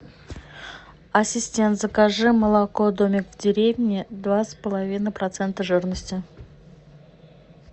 ассистент закажи молоко домик в деревне два с половиной процента жирности